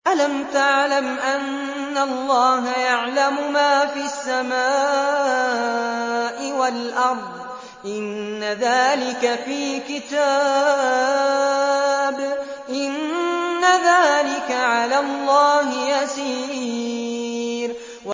أَلَمْ تَعْلَمْ أَنَّ اللَّهَ يَعْلَمُ مَا فِي السَّمَاءِ وَالْأَرْضِ ۗ إِنَّ ذَٰلِكَ فِي كِتَابٍ ۚ إِنَّ ذَٰلِكَ عَلَى اللَّهِ يَسِيرٌ